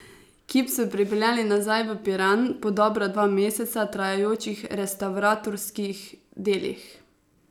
Kip so pripeljali nazaj v Piran po dobra dva meseca trajajočih restavratorskih delih.